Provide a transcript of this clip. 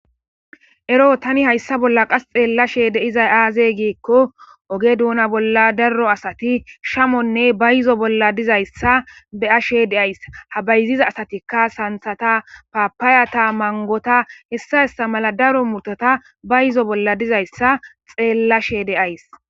Ero tani hayssa bolla qas xeellashe deizay aaze giikko oge duuna bolla daro asati shamonne ba yizo bolla dizayssa de'ashe deays ha bayziza asatikka santhata paapaayata mangota hessa hessa mala daro murtota ba yizo bolla dizayssa xeellashe deays